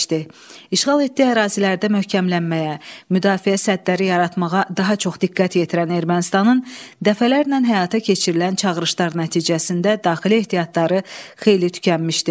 İşğal etdiyi ərazilərdə möhkəmlənməyə, müdafiə sədləri yaratmağa daha çox diqqət yetirən Ermənistanın dəfələrlə həyata keçirilən çağırışlar nəticəsində daxili ehtiyatları xeyli tükənmişdi.